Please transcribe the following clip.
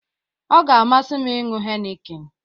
Ọ ga-amasi m iñyu heineken